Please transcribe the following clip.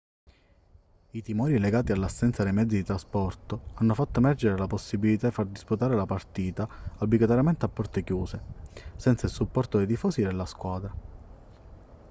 i timori legati all'assenza dei mezzi di trasporto hanno fatto emergere la possibilità di far disputare la partita obbligatoriamente a porte chiuse senza il supporto dei tifosi della squadra